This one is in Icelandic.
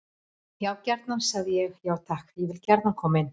Já gjarnan, sagði ég: Já takk, ég vil gjarnan koma inn.